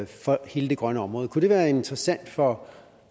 for hele det grønne område kunne det være interessant for